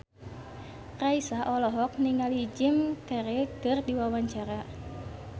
Raisa olohok ningali Jim Carey keur diwawancara